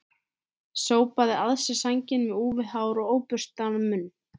Sópaði að sér sænginni með úfið hár og óburstaðan munn.